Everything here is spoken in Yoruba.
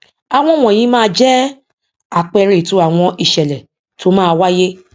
àwọn wọnyí máa jẹ àpẹẹrẹ ètò àwọn ìṣẹlẹ tó máa wáyé